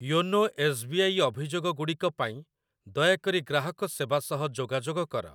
YONO S B I ଅଭିଯୋଗ ଗୁଡ଼ିକ ପାଇଁ ଦୟାକରି ଗ୍ରାହକ ସେବା ସହ ଯୋଗାଯୋଗ କର।